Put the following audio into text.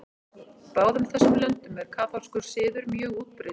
Í báðum þessum löndum er kaþólskur siður mjög útbreiddur.